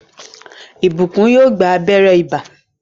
Blessing yóò gbà abéré ibà.